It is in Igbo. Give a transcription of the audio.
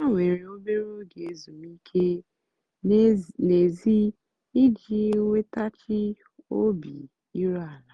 há wèrè óbérè óge ézúmíkè n'èzí íjì nwètaghachị́ óbì írú àlà.